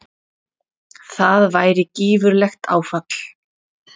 Það væri gífurlegt áfall.